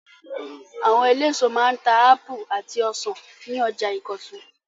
Àwọn eléso máa ń ta ápù àti ọsàn ní ọjà Ìkọ̀tún.